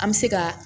An bɛ se ka